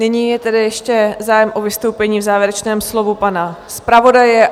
Nyní je tedy ještě zájem o vystoupení v závěrečném slovu pana zpravodaje.